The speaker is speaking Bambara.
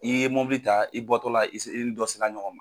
I ye mɔbili ta i bɔtɔ la i se i ni dɔ sela ɲɔgɔn ma.